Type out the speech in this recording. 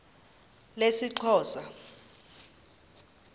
lesixhosa